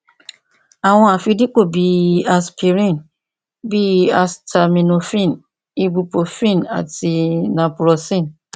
àwọn àfidípò bih i asipiríìnì bí i asitaminofíìnì ibupurofíìnì àti napurọsíìnì